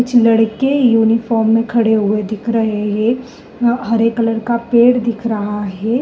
कुछ लड़के यूनिफॉर्म में खड़े हुए दिख रहे हैं। हरे कलर का पेड़ दिख रहा है।